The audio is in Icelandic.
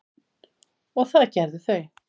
og það gerðu þau.